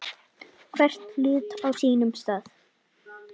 Hvern hlut á sínum stað.